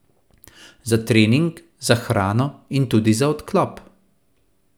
Za trening, za hrano in tudi za odklop.